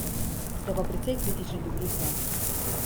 Ste pa precej kritični do Bruslja...